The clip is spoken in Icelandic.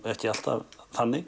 ekki alltaf þannig